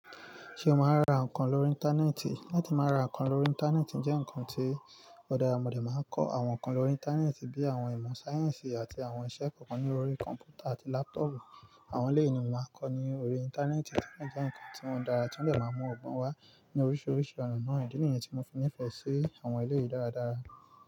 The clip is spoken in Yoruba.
Ṣé o máa ń ra nǹkan lórí Íńtánẹ́ẹ̀tì? Láti máa ra nǹkan lórí Íńtánẹ́ẹ̀tì jẹ́ nǹkan tí ọ̀da mọ̀dẹ̀ máa ń kọ́. Àwọn nǹkan lórí Íńtánẹ́ẹ̀tì bí i àwọn ìmọ̀ sáyẹ́ǹsì àti àwọn iṣẹ́ kọ̀ọ̀kan ní orí kọ̀ǹpútà àti láptọọ̀pù. Àwọn eleyii ni mo máa ń kọ́ ní orí Íńtánẹ́ẹ̀tì. O jẹ́ nǹkan tí o dára tí ó de máa mú ọgbọ́n wá ní oríṣiríṣi ọ̀nà. Idi nìyẹn tí mo fi nífẹ̀ẹ́ sí àwọn eleyìí dáradára.